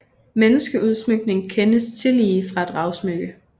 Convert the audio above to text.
Menneskeudsmykning kendes tillige fra et ravsmykke